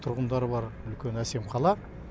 тұрғындары бар үлкен әсем қала